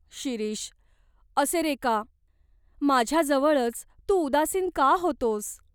शिरीष, असे रे का ? माझ्याजवळच तू उदासीन का होतोस ?".